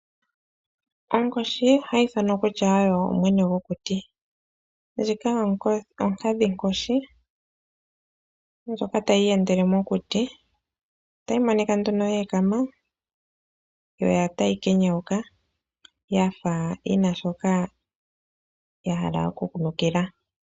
Onkoshi ohayi ithanwa kutya oyo mwene gokuti ndjika onkadhi nkoshi ndjoka tayi iyendele mokuti , otayi monika nduno yeekama yo otayi kenyauka yafa yina shoka yahala okunukila.